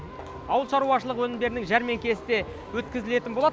ауылшаруашылық өнімдерінің жәрмеңкесі де өткізілетін болады